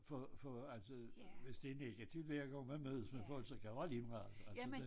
For for altså hvis det egentligt ikke er de vil jeg gerne med med folk så kan det være ligemeget altså det